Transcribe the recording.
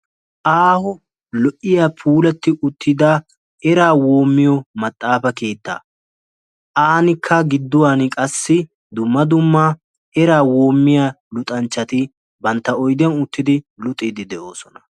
Aaho lo'iyaa puullati uttida eraa woomiyo maxaafa keettaa. Aanikka giduwan qassi dumma dumma eraa woomiyaa luxanchchati bantta oydiyan uttidi eraa woommiiddi de'oosona.